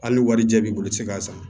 Hali ni warijɛ b'i bolo i ti se k'a san